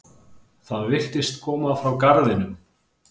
Það virtist koma frá garðinum.